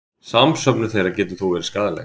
Samsöfnun þeirra getur þó verið skaðleg.